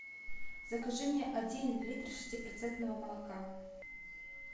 закажи мне один литр шестипроцентного молока